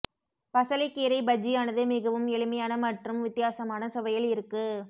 பசலைக் கீரை பஜ்ஜியானது மிகவும் எளிமையான மற்றும் வித்தியாசமான சுவையில் இருக்கு